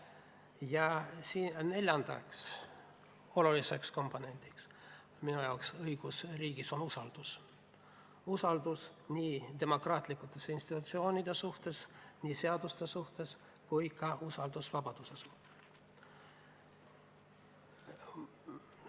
Ja neljandaks oluliseks komponendiks õigusriigis on usaldus – usaldus nii demokraatlike institutsioonide suhtes, seaduste suhtes kui ka vabaduse suhtes.